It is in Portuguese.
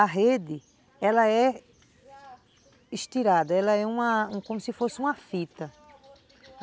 A rede, ela é estirada, ela é uma, como se fosse uma fita.